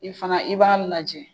I fana i b'a lajɛ